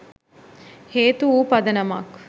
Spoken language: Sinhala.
හේතු වූ පදනමක්